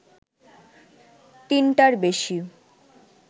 তিনটার বেশি